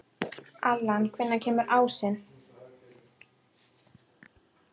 Allan, hvenær kemur ásinn?